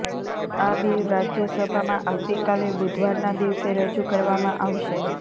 આ બિલ રાજ્યસભામાં આવતીકાલે બુધવારના દિવસે રજૂ કરવામાં આવશે